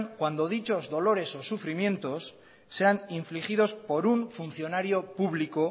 cuando dichos dolores o sufrimientos sean infligidos por un funcionario público